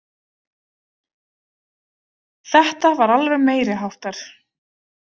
Þetta var alveg meiri háttar.